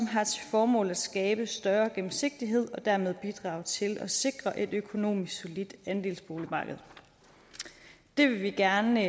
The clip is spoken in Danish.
formål at skabe større gennemsigtighed og dermed bidrage til at sikre et økonomisk solidt andelsboligmarked det vil vi gerne